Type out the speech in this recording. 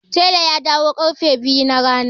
Telan ya dawo ƙarfe biyu na rana.